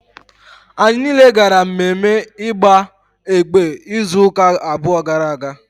Anyị niile gara mmemme igba ekpe izu ụka abụọ gara aga